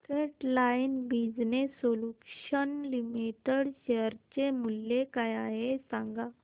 frontline Business Solutions Limited share चे मूल्य काय आहे हे सांगा